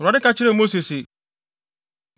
Awurade ka kyerɛɛ Mose se,